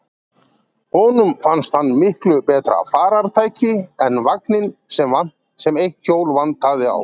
Honum fannst hann miklu betra farartæki en vagninn, sem eitt hjólið vantaði á.